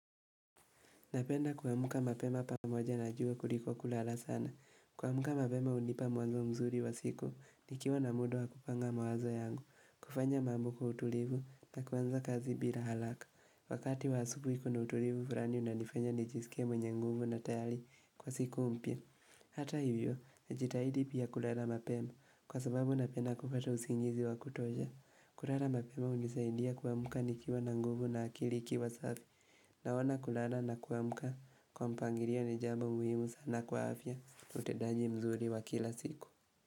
Napenda kuamka mapema pamoja na jua kuliko kulala sana. Kuamka mapema hunipa mwanzo mzuri wa siku. Nikiwa na muda wa kupanga mawazo yangu. Kufanya mambo kwa utulivu na kuanza kazi bila haraka. Wakati wa asubuhi kuna utulivu unanifanya nijisike mwenye nguvu na tayari kwa siku mpya. Hata hivyo, najitahidi pia kulala mapema. Kwa sababu napenda kupata usingizi wa kutosha. Kulala mapema hunisaidia kuamka nikiwa na nguvu na akili ikiwa safi. Naona kulala na kuamka kwa mpangilio ni jambo muhimu sana kwa afya utendaji mzuri wa kila siku.